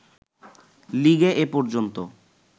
লিগে এ পর্যন্ত